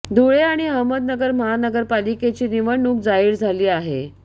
धुळे आणि अहमदनगर महानगरपालिकेची निवडणूक जाहीर झाली आहे